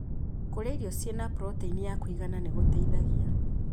Kũrĩa irio ciĩna proteini ya kũigana nĩ gũteithagia